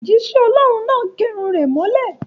Òjísẹ́ ọlọ́hun náà gẹrun rẹ̀ mọ́lẹ̀